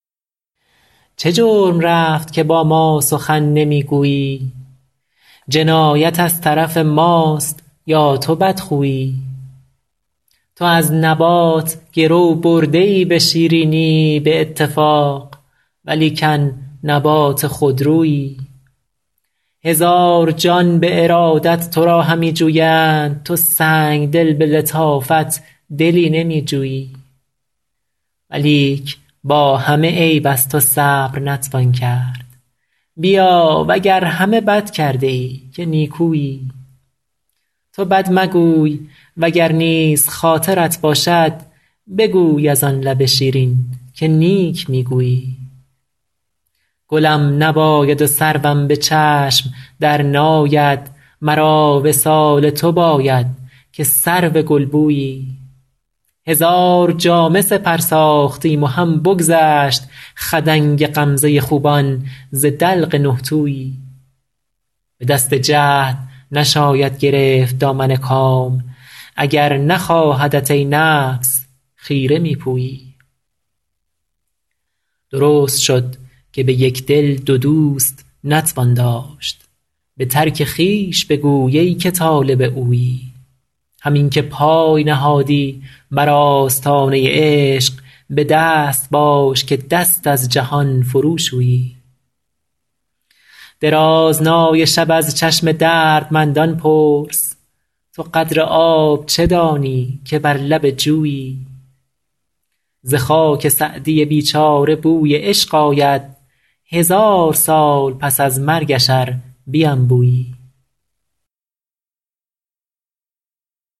چه جرم رفت که با ما سخن نمی گویی جنایت از طرف ماست یا تو بدخویی تو از نبات گرو برده ای به شیرینی به اتفاق ولیکن نبات خودرویی هزار جان به ارادت تو را همی جویند تو سنگدل به لطافت دلی نمی جویی ولیک با همه عیب از تو صبر نتوان کرد بیا و گر همه بد کرده ای که نیکویی تو بد مگوی و گر نیز خاطرت باشد بگوی از آن لب شیرین که نیک می گویی گلم نباید و سروم به چشم درناید مرا وصال تو باید که سرو گلبویی هزار جامه سپر ساختیم و هم بگذشت خدنگ غمزه خوبان ز دلق نه تویی به دست جهد نشاید گرفت دامن کام اگر نخواهدت ای نفس خیره می پویی درست شد که به یک دل دو دوست نتوان داشت به ترک خویش بگوی ای که طالب اویی همین که پای نهادی بر آستانه عشق به دست باش که دست از جهان فروشویی درازنای شب از چشم دردمندان پرس تو قدر آب چه دانی که بر لب جویی ز خاک سعدی بیچاره بوی عشق آید هزار سال پس از مرگش ار بینبویی